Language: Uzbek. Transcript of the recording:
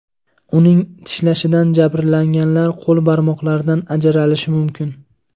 Uning tishlashidan jabrlanganlar qo‘l barmoqlaridan ajralishi mumkin.